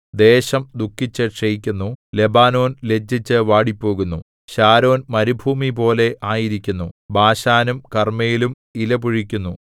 ദേശം ദുഃഖിച്ചു ക്ഷയിക്കുന്നു ലെബാനോൻ ലജ്ജിച്ചു വാടിപ്പോകുന്നു ശാരോൻ മരുഭൂമിപോലെ ആയിരിക്കുന്നു ബാശാനും കർമ്മേലും ഇലപൊഴിക്കുന്നു